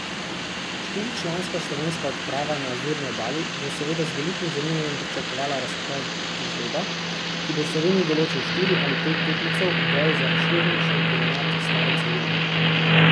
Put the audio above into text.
Štiričlanska slovenska odprava na Azurni obali bo seveda z velikim zanimanjem pričakovala razplet žreba, ki bo Sloveniji določil štiri ali pet tekmecev v boju za razširjeni šampionat stare celine.